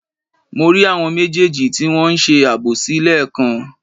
Mo rí àwọn méjèèjì tí wọn ń ṣe àbòsí lẹ́ẹ̀kan